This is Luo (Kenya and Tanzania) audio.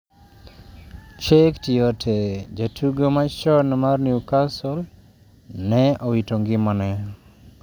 Cheick Tiote: Jatugo machon mar Newcastle ne owito ngimane